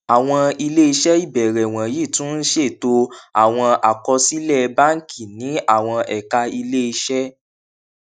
àwọn ilé iṣẹ ìbẹrẹ wọnyí tún ń ṣètò àwọn àkọsílẹ báńkì ní àwọn ẹka ilé iṣẹ